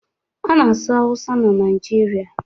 A na-asụ Awụsa na Naịjirịa.